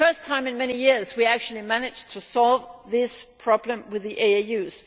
For the first time in many years we actually managed to solve this problem with the AAUs.